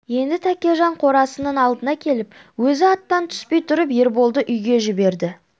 енді тәкежан қорасының алдына келіп өзі аттан түспей тұрып ерболды үйге жіберді